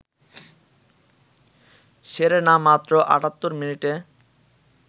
Serena মাত্র ৭৮ মিনিটে